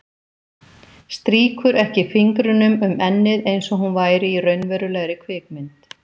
Strýkur ekki fingrunum um ennið einsog hún væri í raunverulegri kvikmynd.